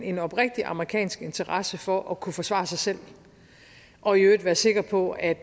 en oprigtig amerikansk interesse for at kunne forsvare sig selv og i øvrigt være sikker på at